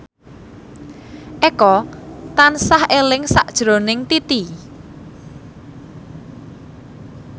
Eko tansah eling sakjroning Titi